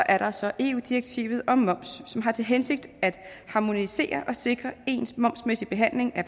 er der så eu direktivet om moms som har til hensigt at harmonisere og sikre ens momsmæssig behandling af